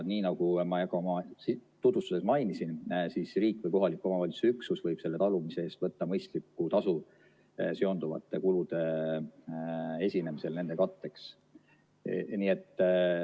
Nii nagu ma tutvustuses mainisin, siis riik või kohaliku omavalitsuse üksus võib talumise eest võtta mõistliku tasu seonduvate kulude esinemisel nende katteks.